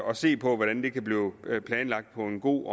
og se på hvordan det kan blive planlagt på en god